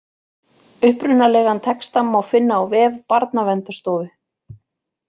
Upprunalegan texta má finna á vef Barnaverndarstofu.